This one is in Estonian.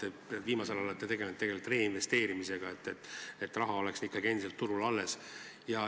Ma vaatan, et viimasel ajal olete te tegelenud reinvesteerimisega, et raha oleks turul endiselt alles.